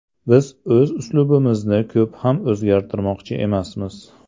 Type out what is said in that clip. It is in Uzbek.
Biz o‘z uslubimizni ko‘p ham o‘zgartirmoqchi emasmiz.